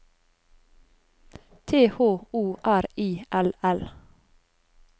T H O R I L L